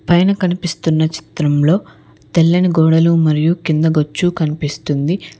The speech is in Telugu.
పైన కనిపిస్తున్న చిత్రంలో తెల్లని గోడలు మరియు కింద గచ్చు కనిపిస్తుంది.